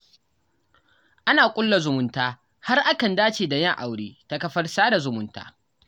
Ana ƙulla zumunta, har akan dace da yin aure, ta kafar sada zumunta.